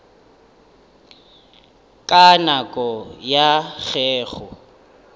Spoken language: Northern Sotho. ka nako ya ge go